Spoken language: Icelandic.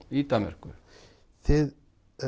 í Danmörku þið